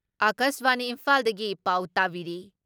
ꯑꯀꯥꯁꯕꯥꯅꯤ ꯏꯝꯐꯥꯜꯗꯒꯤ ꯄꯥꯎ ꯇꯥꯕꯤꯔꯤ ꯫